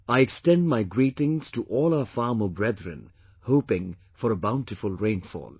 I extend my greetings to all our farmer brethren hoping for a bountiful rainfall